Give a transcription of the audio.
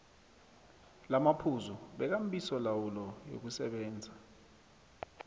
lamaphuzu wekambisolawulo yokusebenza